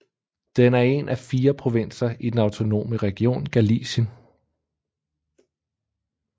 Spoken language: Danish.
Den er en af fire provinser i den autonome region Galicien